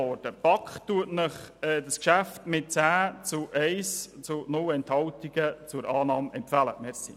Mit 10 Stimmen zu 1 Gegenstimme und keiner Enthaltung empfiehlt Ihnen die BaK das Geschäft zur Annahme.